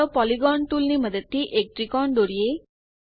ચાલો પોલિગોન ટૂલની મદદથી એક ત્રિકોણ દોરીએ